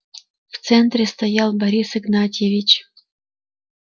в центре стоял борис игнатьевич